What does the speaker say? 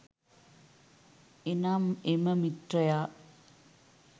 එනම් එම මිත්‍රයා